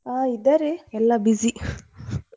ಹಾ ಇದ್ದಾರೆ ಎಲ್ಲ busy .